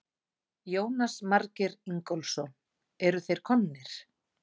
Jónas Margeir Ingólfsson: Eru þeir komnir?